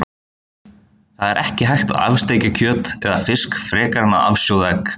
Það er ekki hægt að af-steikja kjöt eða fisk frekar en að af-sjóða egg.